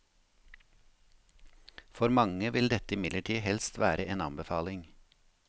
For mange vil dette imidlertid helst være en anbefaling.